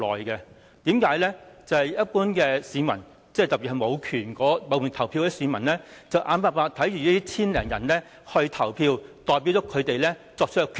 因為對於一般市民，特別是無權投票的市民，眼看這千多人投票，代表他們作出決定。